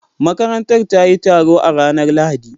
Makarantar ta yi taro a ranar Lahadi